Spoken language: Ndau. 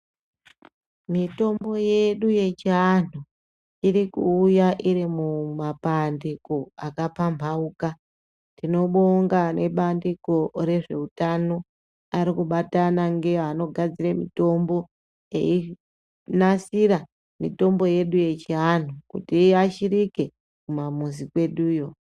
Mitombo yedu yechiantu iri kuuya iri mumapandiko akaphambauka. Tinobonga nebandiko rezve utano arikubatana ngeanogadzire mitombo, einasira mitombo yedu yechiantu kuti iashirike kumamizi kweduyo.